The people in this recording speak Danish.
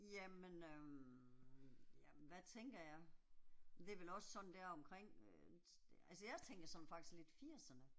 Jamen øh, jamen hvad tænker jeg. Det er vel også sådan deromkring, Øh altså jeg tænker sådan faktisk lidt firserne